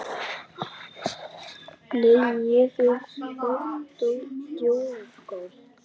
Nei, ég er að djóka.